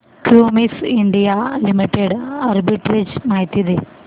Cummins India Limited arbitrage माहिती दे